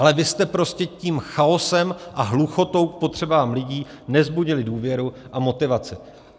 Ale vy jste prostě tím chaosem a hluchotou k potřebám lidí nevzbudili důvěru a motivaci.